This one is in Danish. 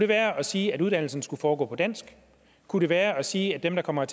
være at sige at uddannelsen skulle foregå på dansk kunne det være at sige at dem der kommer